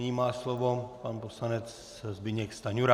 Nyní má slovo pan poslanec Zbyněk Stanjura.